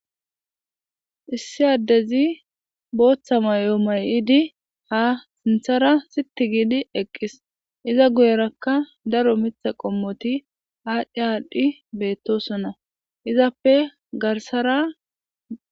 Issi addezi booththa may'o may'idi ha sinthara sitti giidi eqqis iza guyerakka daro mitha qommoti aadhdhi aadhdhi beettosona izappe garsara.